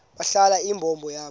balahla imbo yabo